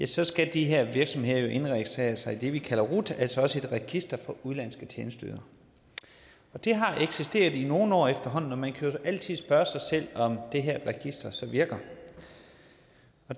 så skal de her virksomheder jo indregistrere sig i det vi kalder rut altså et register for udenlandske tjenesteydere det har eksisteret i nogle år efterhånden og man kan altid spørge sig selv om det her register så virker